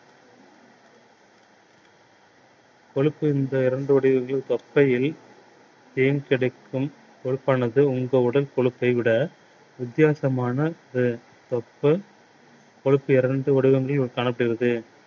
கொழுப்பு தொப்பையில் தேர்ந்தெடுக்கும் கொழுப்பானது உங்கள் உடல் கொழுப்பை விட வித்தியாசமான தொப்பை கொழுப்பு